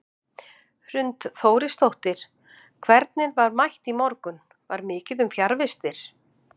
Hrund Þórisdóttir: Hvernig var mætt í morgun, var mikið um fjarvistir?